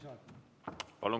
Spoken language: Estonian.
Palun!